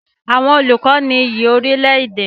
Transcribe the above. Àwọn olùkọ ní iyì orílẹ̀-èdè.